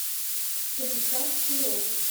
станислав перов